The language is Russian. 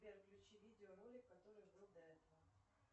сбер включи видеоролик который был до этого